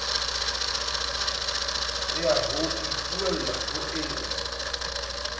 ya ho ipuella ho eo